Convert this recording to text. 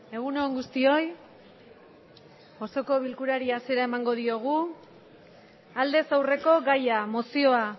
egun on guztioi osoko bilkurari hasiera emango diogu aldez aurreko gaia mozioa